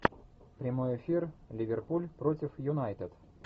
прямой эфир ливерпуль против юнайтед